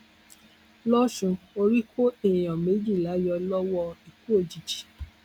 lọsùn orí kó èèyàn méjìlá yọ lọwọ ikú òjijì